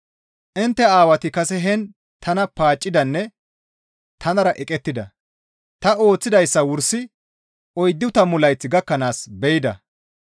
Intte aawati kase heen tana paaccidanne tanara eqettida. Ta ooththidayssa wursi oyddu tammu layth gakkanaas be7ida.